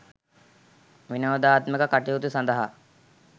විනෝදාත්මක කටයුතු සඳහා